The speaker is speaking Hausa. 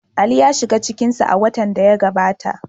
Ali ya shiga cikin su a watan da ya gabata.